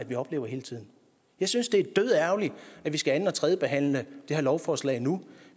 vi oplever hele tiden jeg synes det er dødærgerligt at vi skal anden og tredjebehandle det her lovforslag nu